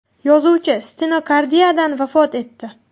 Yozuvchi stenokardiyadan vafot etdi.